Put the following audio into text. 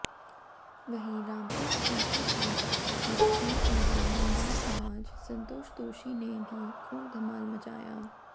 वहीं रामपुर क्षेत्र की मशहुर एवं दमदार आवाज संतोष तोषी ने भी खुब धमाल मचाया